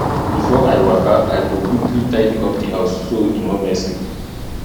before i waka i go quickly tidy up di house so e no messy